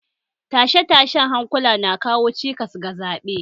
Tashe-tashen hankula na kawo cikas ga zaɓe